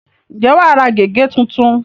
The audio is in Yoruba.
ǹjẹ́ wà á ra gègé tuntun?